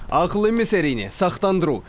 ақыл емес әрине сақтандыру